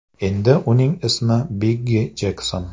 Endi uning ismi Biggi Jekson.